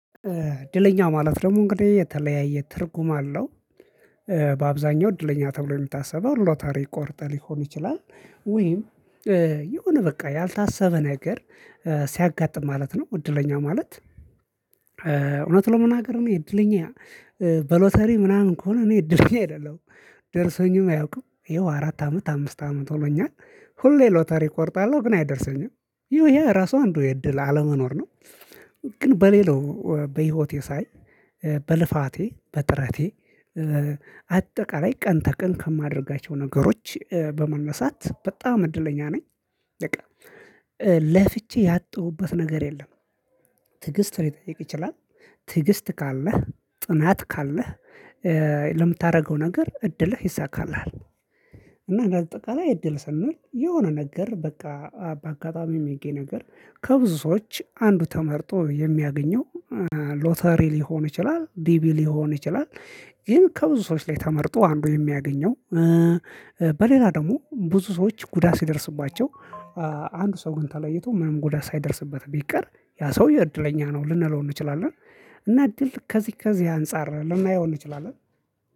እድለኛ ማለት ደግሞ እንግዲህ የተለያየ ትርጉም አለው። እ በአብዛኛው እድለኛ ተብሎ የምታስበው ሎታሪ ቆርጠህ ሊሆን ይችላል ወይም የሆነ በቃ ያልታሰበ ነገር ሲያጋጥም ማለት ነው። እድለኛ ማለት። እውነት ለመናገር እኔ እድለኛ እ በሎተሪ ምናምን ከሆነ እኔ እኔ እድለኛ አይደለሁም ደርሶኝም አያውቅም። ይኸው አራት አመት አምስት አመት ሆኖኛል። ሁሌ ሎተሪ እቆርጣለሁ ግን አይደርሰኝም ይሄ ራሱ አንዱ የእድል አለመኖር ነው። ግን በሌላው በህይወቴ ሳይ በልፋቴ በጥረቴ አጠቃላይ ቀን ተቀን ከማደርጋቸው ነገሮች በመነሳት በጣም እድለኛ ነኝ። በቃ ለፍቼ ያጡሁበት ነገር የለም። ትዕግስት ሊጠይቅ ይችላል ትዕግስት ካለህ ጥናት ካለህ ነገር እድልህ ይይሳካልሃል። እና እንደአጠቃላይ እድል ሰንል የሆነ ነገር በቃ በአጋጣሚ ሚገኝ ነገር ከብዙ ሰዎች አንዱ ተመርጦ የሚያገኘው ሎተሪ ሊሆን ይችላል ዲቢ ሊሆን ይችላል። ግን ከብዙ ሰዎች ላይ ተመርጦ አንዱ የሚያገኘው እ በሌላ ደግሞ ብዙ ሰዎች ጉዳት ሲደርስባቸው አንዱ ሰው ግን ተለይቶ ምንም ጉዳት ሳይደርስበት ቢቀር ያ ሰው እድለኛ ነው ልንለው እንችላለን። እና እድል ከዚህ ከዚህ አንፃር ልናየው እንችላለን